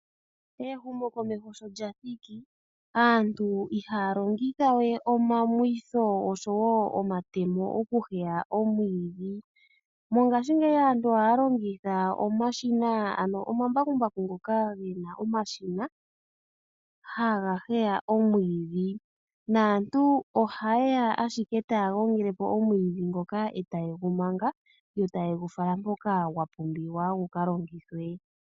Ehumokomeho sho lya thiki, aantu ihaya longitha we omamwitho oshowo omatemo okuheya omwiidhi. Mongaashingeyi aantu ohaya longitha omashina ano omambakumbaku ngoka ge na omashina haga heya omwiidhi, naantu ohaye ya ashike taya gongele po omwiidhi ngoka, e ta ye gu manga, yo taye gu fala mpoka gwa pumbiwa gu ka longithwe.